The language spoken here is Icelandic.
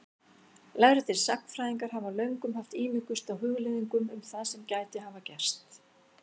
Lærðir sagnfræðingar hafa löngum haft ímugust á hugleiðingum um það sem gæti hafa gerst.